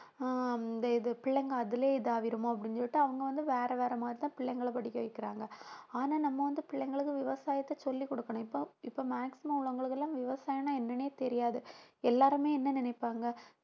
ஆஹ் இந்த இது பிள்ளைங்க அதிலேயே இதாயிருமோ அப்படின்னு சொல்லிட்டு அவங்க வந்து வேற வேற மாதிரிதான் பிள்ளைங்களை படிக்க வைக்கிறாங்க. ஆனா நம்ம வந்து பிள்ளைங்களுக்கு விவசாயத்தை சொல்லிக் கொடுக்கணும் இப்போ இப்போ maximum உள்ளவங்களுக்கு எல்லாம் விவசாயம்ன்னா என்னன்னே தெரியாது எல்லாருமே என்ன நினைப்பாங்க